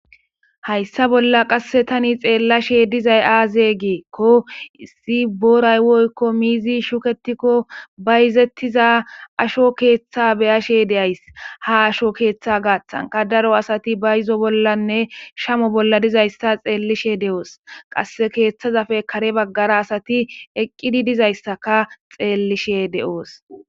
Hayssa bolla qasse tani xeellashe dizay aaze geekko issi boraywoykko miizi shuketikko ba izettiza asho keeththa beyashe deays ha asho keeththa gaaththanka daro asati ba yizo bollanne shamo bolla dizayssa xeellishe de'oos qasse keeththazafe kare baggara asati eqqidi dizayssaka xeellishe de'oos.